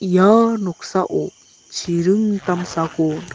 ia noksao chiring damsako nik--